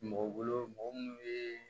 Mɔgɔ bolo mɔgɔ munnu bɛ